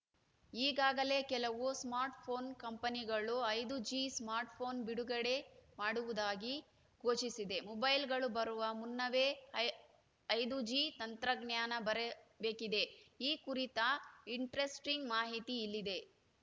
ಈಗಾಗಲೇ ಕೆಲವು ಸ್ಮಾರ್ಟ್‌ಫೋನ್‌ ಕಂಪನಿಗಳು ಐದು ಜಿ ಸ್ಮಾರ್ಟ್‌ಫೋನ್‌ ಬಿಡುಗಡೆ ಮಾಡುವುದಾಗಿ ಘೋಷಿಸಿದೆ ಮೊಬೈಲ್‌ಗಳು ಬರುವ ಮುನ್ನವೇ ಐ ಐದು ಜಿ ತಂತ್ರಜ್ಞಾನ ಬರಬೇಕಿದೆ ಈ ಕುರಿತ ಇಂಟರೆಸ್ಟಿಂಗ್‌ ಮಾಹಿತಿ ಇಲ್ಲಿದೆ